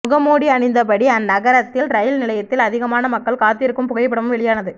முகமூடி அணிந்தபடி அந்நகரத்தில் ரயில் நிலையத்தில் அதிகமான மக்கள் காத்திருக்கும் புகைப்படமும் வெளியானது